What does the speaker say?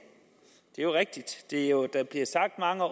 det er jo rigtigt der bliver sagt mange